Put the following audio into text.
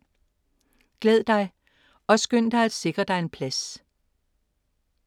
Glæd dig og skynd dig at sikre dig en plads.